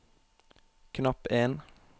knapp en